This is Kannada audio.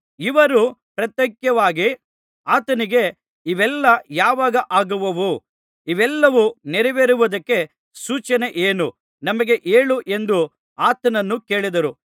ಇವರು ಪ್ರತ್ಯೇಕವಾಗಿ ಆತನಿಗೆ ಇವೆಲ್ಲಾ ಯಾವಾಗ ಆಗುವವು ಇವೆಲ್ಲವು ನೆರವೇರುವುದಕ್ಕೆ ಸೂಚನೆ ಏನು ನಮಗೆ ಹೇಳು ಎಂದು ಆತನನ್ನು ಕೇಳಿದರು